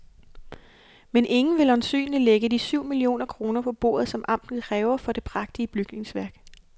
Men ingen vil øjensynligt lægge de syv millioner kroner på bordet, som amtet kræver for det prægtige bygningsværk.